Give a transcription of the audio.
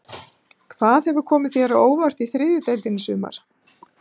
Hvað hefur komið þér á óvart í þriðju deildinni í sumar?